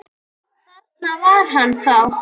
Þarna var hann þá!